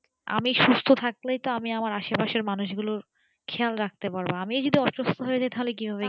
আমি সুস্থ থাকলেই তো আমার আসে পাশে মানুষ গুলোর খেয়াল রাখতে পারবো আমি যদি অসুস্থ হয়ে যাই তো তাহলে কি ভাবে কি